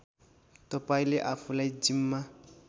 तपाईँले आफूलाई जिम्मा